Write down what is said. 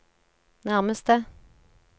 nærmeste